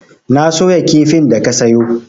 Na soya kifin da ka sayo.